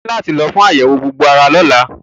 O ní láti lọ fún àyẹ̀wò gbogbo ara lọ́la.